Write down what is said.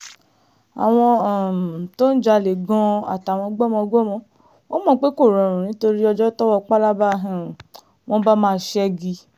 àwọn um tó ń jalè gan-an àtàwọn gbọ́mọgbọ́mọ wọn mọ̀ pé kò rọrùn nítorí ọjọ́ tọ́wọ́ pábala um wọn bá máa ṣẹ́gi